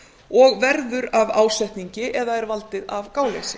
og verður af ásetningi eða er valdið af gáleysi